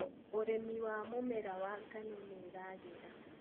ũrĩmi wa mũmera wa ngano nĩũragĩra.